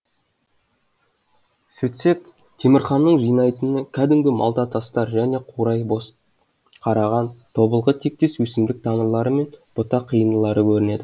сөтсек темірханның жинайтыны кәдімгі малта тастар және қурай бозқараған тобылғы тектес өсімдік тамырлары мен бұта қиындылары көрінеді